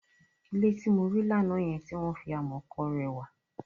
Ilé tí mo rí lánàá yẹn, tí wọ́n fi amọ̀ kọ rẹwà.